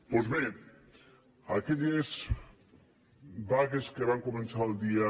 doncs bé aquelles vagues que van començar el dia